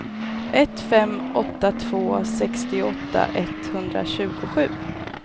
ett fem åtta två sextioåtta etthundratjugosju